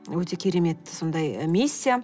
өте керемет сондай миссия